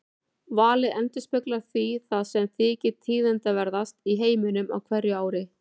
Valið endurspeglar því það sem þykir tíðindaverðast í heiminum á hverju ári.